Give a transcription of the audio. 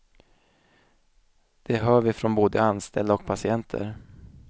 Det hör vi från både anställda och patienter.